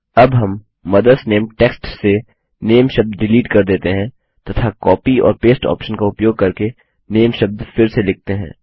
अब हम mother's name text से नामे शब्द डिलीट कर देते हैं तथा कॉपी और पेस्ट ऑप्शन का उपयोग करके नामे शब्द फिर से लिखते हैं